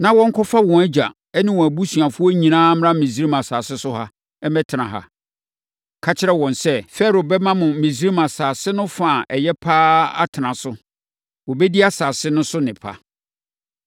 na wɔnkɔfa wɔn agya ne wɔn abusuafoɔ nyinaa mmra Misraim asase so ha mmɛtena ha. Ka kyerɛ wɔn sɛ, ‘Farao bɛma mo Misraim asase no fa a ɛyɛ pa ara atena so. Wɔbɛdi asase no so nnepa!’